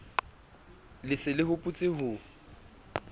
le se le hopotse ho